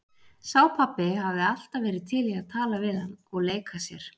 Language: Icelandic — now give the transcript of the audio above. Sá pabbi hafði alltaf verið til í að tala við hann og leika sér.